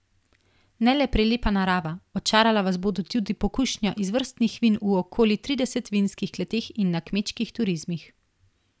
Ne le prelepa narava, očarala vas bo tudi pokušnja izvrstnih vin v okoli tridesetih vinskih kleteh in na kmečkih turizmih.